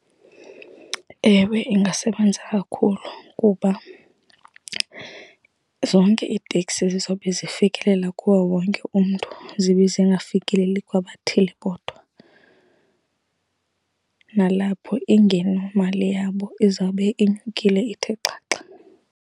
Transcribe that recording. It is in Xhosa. Ewe, ingasebenza kakhulu kuba zonke iiteksi zizobe zifikelela kuwo wonke umntu zibe zingafikeleli kwabathile kodwa. Nalapho ingenomali yabo izawube inyukile ithe xaxa.